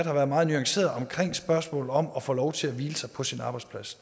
har været meget nuanceret omkring spørgsmålet om at få lov til at hvile sig på sin arbejdsplads